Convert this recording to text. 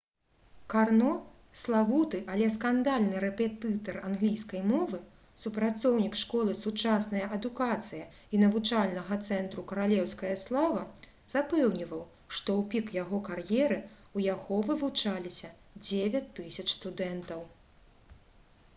карно — славуты але скандальны рэпетытар англійскай мовы супрацоўнік школы «сучасная адукацыя» і навучальнага цэнтру «каралеўская слава» запэўніваў што ў пік яго кар'еры ў яго вывучаліся 9000 студэнтаў